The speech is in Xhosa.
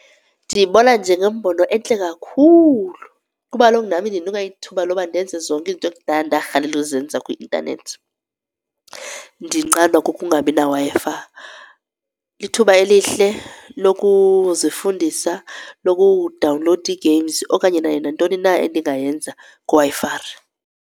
Ndiyibona njengembono entle kakhulu kuba kaloku nam indinika ithuba loba ndenze zonke izinto ekudala ndarhalela ukuzenza kwi-intanethi ndinqandwa kukungabi naWi-Fi. Lithuba elihle lokuzifundisa nokudawunlowuda iigames okanye nayo nantoni na into endingayenza kwiWi-Fi.